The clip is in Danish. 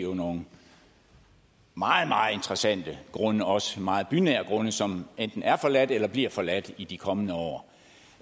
nogle meget meget interessante grunde også meget bynære grunde som enten er forladt eller bliver forladt i de kommende år